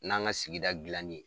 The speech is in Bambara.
N'an ka sigida dilanni ye